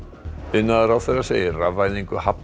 iðnaðarráðherra segir rafvæðingu hafna